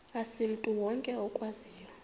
asimntu wonke okwaziyo